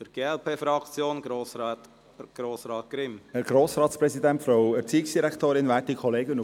Die glp-Fraktion schliesst sich der Regierung an.